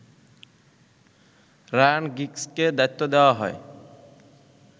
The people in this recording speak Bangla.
রায়ান গিগসকে দায়িত্ব দেয়া হয়